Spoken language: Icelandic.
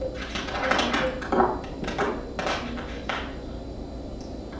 Leikarinn Björn Hlynur Haraldsson er formaður í nýju meistaraflokksráði Þróttar sem sett hefur verið saman.